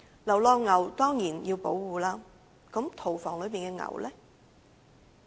流浪牛當然要保護，那麼屠房內的牛呢？